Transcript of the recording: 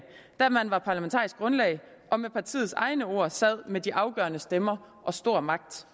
da man var parlamentarisk grundlag og med partiets egne ord sad med de afgørende stemmer og stor magt